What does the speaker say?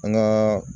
An gaa